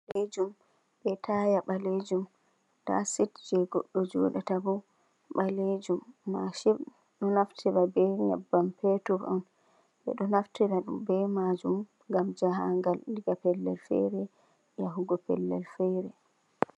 Machin bodejum, be taya balenjum, da sit jei giddo jodata boh balejum, machin do naftira be nybam petur bedo naftira majum gam jahagal, daga pellel fere yahugo pellel fere..